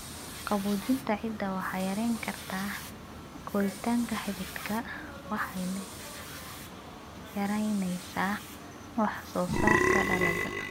Qaboojinta ciidda waxay yarayn kartaa koritaanka xididka waxayna yaraynaysaa wax-soo-saarka dalagga.